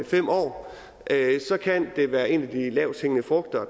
fem år kan det være en af de lavthængende frugter